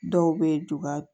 Dɔw bɛ dugawu